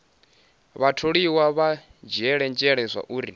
vhatholiwa vha dzhiele nzhele zwauri